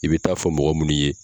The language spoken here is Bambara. I bɛ taa fɔ mɔgɔ minnu ye